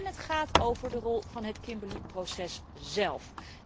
Het gaat ook over de rol van het Kimberly proces zelf.